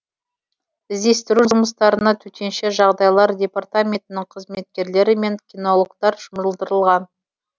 іздестіру жұмыстарына төтенше жағдайлар департаментінің қызметкерлері мен кинологтар жұмылдырылған